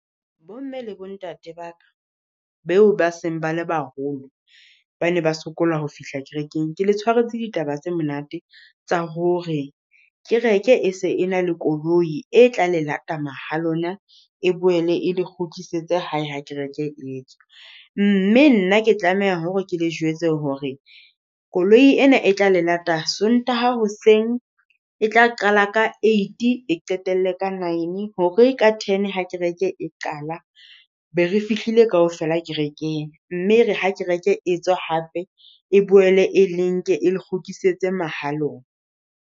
Bomme le bo ntate ba ka, beo ba seng bale baholo, ba ne ba sokola ho fihla kerekeng. Ke le tshwaretse ditaba tse monate tsa hore, kereke e se e na le koloi e tla le lata mahalona, e boele e le kgutlisetse hae ha kereke etswa. Mme nna ke tlameha hore ke le jwetse hore koloi ena e tla le lata Sontaha hoseng, e tla qala ka eight qetelle ka nine hore ka ten ha kereke e qala, be re fihlile kaofela kerekeng. Mme ere ha kereke etswa hape, e boele e le nke e le kgutlisetse mahalona.